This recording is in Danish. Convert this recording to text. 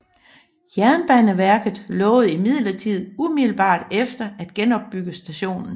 Jernbaneverket lovede imidlertid umiddelbart efter at genopbygge stationen